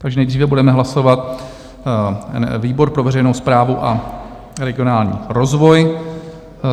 Takže nejdříve budeme hlasovat výbor pro veřejnou správu a regionální rozvoj.